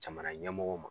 Jamana ɲɛmɔgɔw ma